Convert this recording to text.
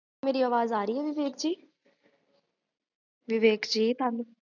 ਗ੍ਹਜ